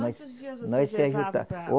Quantos dias vocês levavam para?